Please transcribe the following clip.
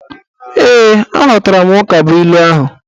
Ee, aghọtara m ukabuilu ahụ